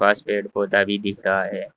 इस पेड़ पौधा भी दिख रहा है।